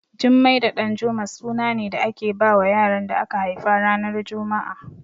Jummai da Ɗanjuma suna ne da ake bawa yaran da aka haifa ranar juma'a